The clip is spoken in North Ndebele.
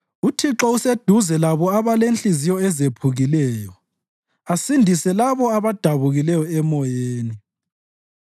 UThixo useduze labo abalezinhliziyo ezephukileyo asindise labo abadabukileyo emoyeni.